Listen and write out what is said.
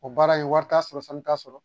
O baara in wari t'a sɔrɔ fɛn t'a sɔrɔ